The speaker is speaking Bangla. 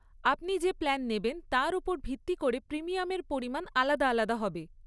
আপনি যে প্ল্যান নেবেন তার ওপর ভিত্তি করে প্রিমিয়ামের পরিমাণ আলাদা আলাদা হবে।